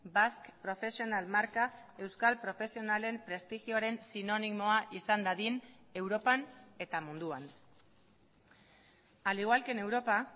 basque profesional marka euskal profesionalen prestigioaren sinonimoa izan dadin europan eta munduan al igual que en europa